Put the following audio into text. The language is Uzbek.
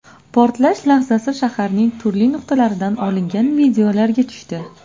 Portlash lahzasi shaharning turli nuqtalaridan olingan videolarga tushdi.